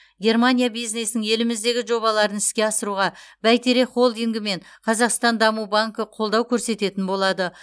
германия бизнесінің еліміздегі жобаларын іске асыруға бәйтерек холдингі мен қазақстан даму банкі қолдау көрсететін болады